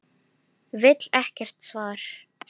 Vill ekkert svar.